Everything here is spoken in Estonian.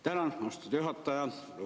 Tänan, austatud juhataja!